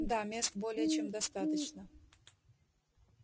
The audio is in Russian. да мест более чем достаточно